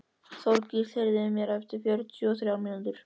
Þorgísl, heyrðu í mér eftir fjörutíu og þrjár mínútur.